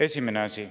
Esimene asi.